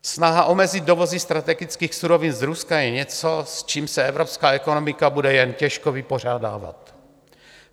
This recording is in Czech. Snaha omezit dovozy strategických surovin z Ruska je něco, s čím se evropská ekonomika bude jen těžko vypořádávat.